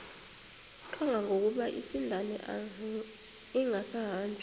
kangangokuba isindane ingasahambi